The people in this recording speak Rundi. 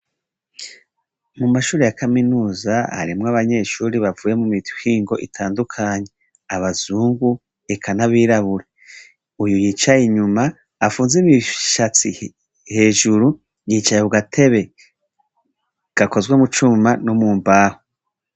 Mumashure ya kaminuza harimwo abanyeshure bavuye imihingo itandukanye, abazungu eka n'abirabure, uyu yicaye inyuma afunze ibishatsi hejuru, yicaye kugatebe gakozwe mucuma no mumbaho.